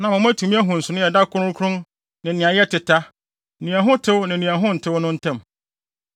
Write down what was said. na ama moatumi ahu nsonoe a ɛda kronkron ne nea ɛyɛ teta, nea ɛho tew ne nea ɛho ntew no tam,